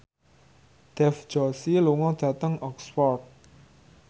Dev Joshi lunga dhateng Oxford